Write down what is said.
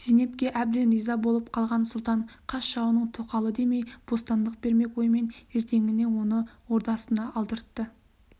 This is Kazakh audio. зейнепке әбден риза боп қалған сұлтан қас жауының тоқалы демей бостандық бермек оймен ертеңіне оны ордасына алдыртты